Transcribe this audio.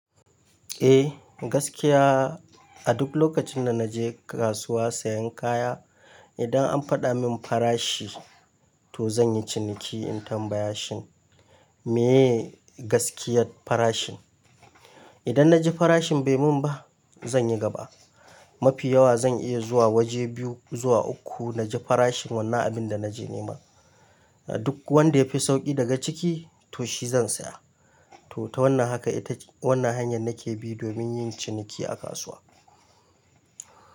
Eh gaskiya a duk lokacin da na je kasuwa sayan kaya, idan an faɗa min farashi to zan yi ciniki in tambaya shi me gaskiyar farashin. Idan na ji farashin bai mun ba zan yi gaba. Mafi yawa zan iya zuwa waje biyu zuwa uku na ji farashin wannan abin da na je nema. Duk wanda ya fi sauƙi daga ciki to shi zan saya. To ta wannan haka ita wannan hanyar nake bi domin yin ciniki a kasuwa.